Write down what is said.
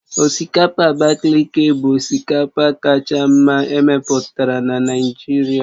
Osikapa Abakaliki bụ osikapa kacha mma emepụtara na Naịjirịa